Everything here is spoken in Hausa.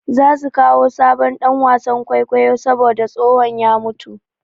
Za su kawo sabon ɗan wasan kwaikwayo saboda tsohon ya mutu.